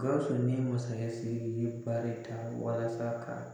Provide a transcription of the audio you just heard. Gawusu ni masakɛ sigi u ye baari da walasa